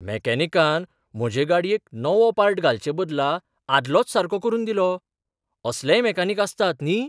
मॅकॅनिकान म्हजे गाडयेक नवो पार्ट घालचे बदला आदलोच सारको करून दिलो. असलेय मॅकॅनिक आसतात, न्ही?